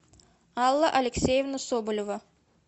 алла алексеевна соболева